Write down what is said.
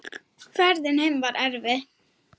Ferðin heim var erfið.